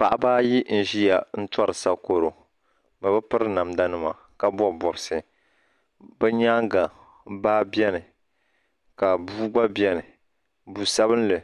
Paɣaba ayi n ziya n tori sakoro bi bi piri namda nima ka bɔbi bɔbisi bi yɛanga baa bɛni ka bua gba beni bua sabinli